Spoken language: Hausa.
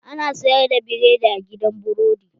Ana sayar da biredi a gidan burodi?